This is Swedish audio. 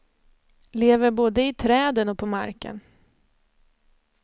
Lever både i träden och på marken.